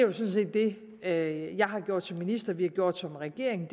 er jo jeg har gjort som minister vi har gjort som regering